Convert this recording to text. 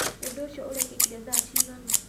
Ũndũ ũcio ũrekĩkire thaa ci gana?